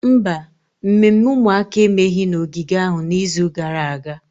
Mba, mmemme ụmụaka emeghị na ogige ahụ n'izu gara aga.